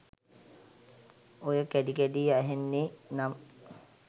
ඔය කැඩි කැඩි අහෙන්නේ නම්